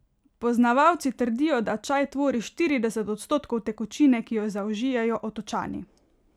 Poznavalci trdijo, da čaj tvori štirideset odstotkov tekočine, ki jo zaužijejo Otočani.